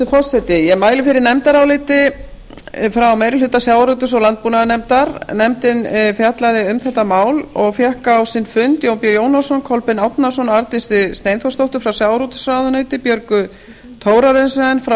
forseti ég mæli fyrir nefndaráliti frá meiri hluta sjávarútvegs og landbúnaðarnefndar nefndin hefur fjallað um málið og fengið á sinn fund jón b jónasson kolbein árnason og arndísi steinþórsdóttur frá sjávarútvegsráðuneyti björgu thorarensen frá